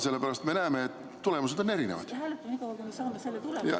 Sellepärast et me näeme, et tulemused on erinevad.